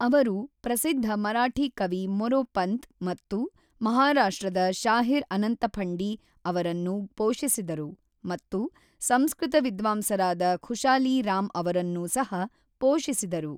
ಅವರು ಪ್ರಸಿದ್ಧ ಮರಾಠಿ ಕವಿ ಮೊರೊಪಂತ್ ಮತ್ತು ಮಹಾರಾಷ್ಟ್ರದ ಶಾಹಿರ್ ಅನಂತಫಂಡಿ ಅವರನ್ನು ಪೋಷಿಸಿದರು ಮತ್ತು ಸಂಸ್ಕೃತ ವಿದ್ವಾಂಸರಾದ ಖುಶಾಲಿ ರಾಮ್ ಅವರನ್ನೂ ಸಹ ಪೋಷಿಸಿದರು.